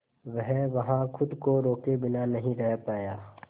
वह वहां खुद को रोके बिना नहीं रह पाया